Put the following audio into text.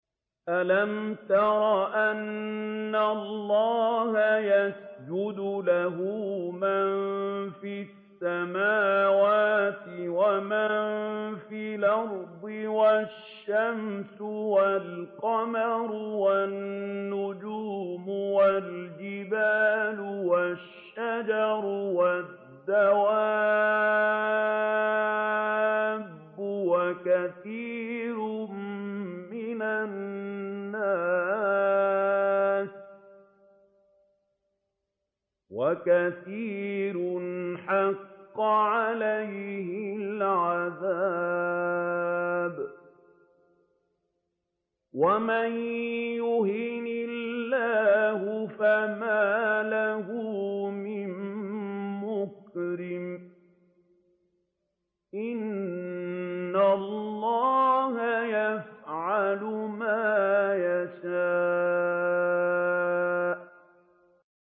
أَلَمْ تَرَ أَنَّ اللَّهَ يَسْجُدُ لَهُ مَن فِي السَّمَاوَاتِ وَمَن فِي الْأَرْضِ وَالشَّمْسُ وَالْقَمَرُ وَالنُّجُومُ وَالْجِبَالُ وَالشَّجَرُ وَالدَّوَابُّ وَكَثِيرٌ مِّنَ النَّاسِ ۖ وَكَثِيرٌ حَقَّ عَلَيْهِ الْعَذَابُ ۗ وَمَن يُهِنِ اللَّهُ فَمَا لَهُ مِن مُّكْرِمٍ ۚ إِنَّ اللَّهَ يَفْعَلُ مَا يَشَاءُ ۩